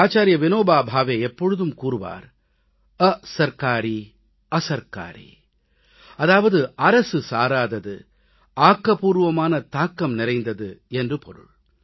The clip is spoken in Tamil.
ஆச்சார்ய விநோபா பாவே எப்போதும் கூறுவார் அசர்க்காரீ அசர்க்காரீ அதாவது அரசு சாராதது ஆக்கப்பூர்வமான தாக்கம் நிறைந்தது என்று பொருள்